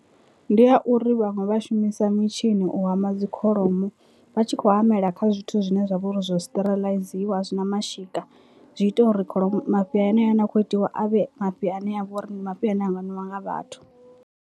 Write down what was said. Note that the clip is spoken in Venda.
Ndi a uri vhanwe vha shumisa mitshini u hama dzi kholomo vha tshi khou hamela kha zwithu zwine zwavha uri zwo stereliziwa a zwina mashika zwi ita uri kholomo mafhi ane a kho itiwa avhe mafhi ane avha uri mafhi ane anga nwiwa nga vhathu.